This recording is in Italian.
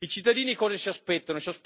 I cittadini cosa si aspettano?